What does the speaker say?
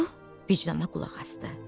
Su vicdana qulaq asdı.